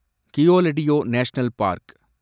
Keoladeo national park